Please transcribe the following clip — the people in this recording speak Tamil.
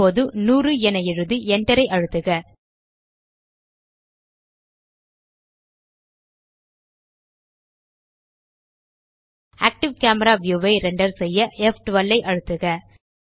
இப்போது 100 என எழுதி Enter ஐ அழுத்துக ஆக்டிவ் கேமரா வியூ ஐ ரெண்டர் செய்ய ப்12 ஐ அழுத்துக